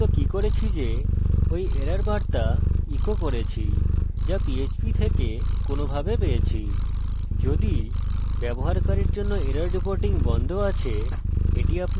যদি আপনার ummm কিভাবে বলবো যদি ব্যবহারকারীর জন্য এরর রিপোর্টিং বন্ধ আছে এটি আপনাকে তাই দেবে যা আপনি চান